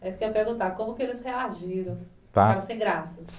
É isso que eu ia perguntar, como que eles reagiram? Tá. Ficaram sem graça.